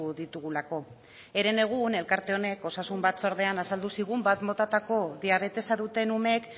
ditugulako herenegun elkarte honek osasun batzordean azaldu zigun batgarren motatako diabetesa duten umeek